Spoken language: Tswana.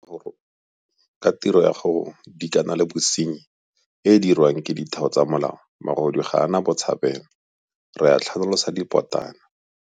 Ka tiro ya go dikana le bosenyi e e diriwang ke ditheo tsa molao magodu ga a na botshabelo - re a tlhanolosa dipotana.